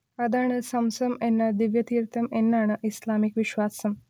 അതാണ് സംസം എന്ന ദിവ്യതീർത്ഥം എന്നാണു ഇസ്ലാമിക വിശ്വാസം